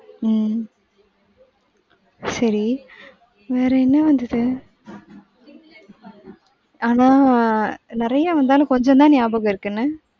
உம் சரி வேற என்ன வந்துது? அத நறையா வந்தாலும் கொஞ்சம் தான் நியாபகம் இருக்கு என்ன.